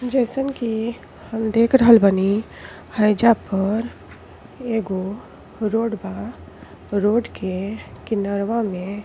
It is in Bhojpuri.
जइसन कि हम देख रहल बानी हईजा पर एगो रोड बा। रोड के किनरवा में --